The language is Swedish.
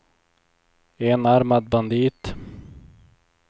enarmad bandit